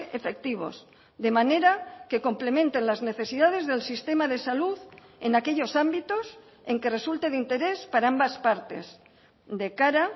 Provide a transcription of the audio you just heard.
efectivos de manera que complementen las necesidades del sistema de salud en aquellos ámbitos en que resulte de interés para ambas partes de cara